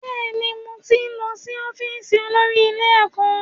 Bẹ́ẹ̀ni, mo ti lọ́ sí ọ́fíìsì olórí ilé ẹ̀kọ́